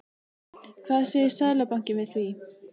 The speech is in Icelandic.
Hvað segir Seðlabankinn við því?